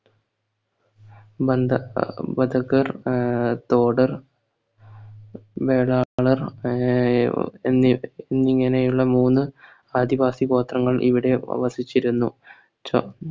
വന്ദ വധഗർ ആഹ് തോടർ വേടാളർ ആഹ് എന്നി എന്നിങ്ങനെയുള്ള മൂന്ന് ആദിവാസി ഗോത്രങ്ങൾ ഇവിടെ വസിച്ചിരുന്നു ചാ